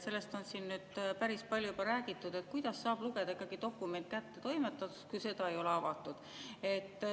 Sellest on siin nüüd päris palju juba räägitud, et kuidas saab lugeda ikkagi dokument kättetoimetatuks, kui seda ei ole avatud.